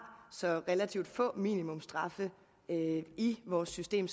så relativt få minimumsstraffe i vores system